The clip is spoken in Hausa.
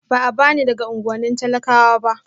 A'a ba ni daga unuwannin talakawa ba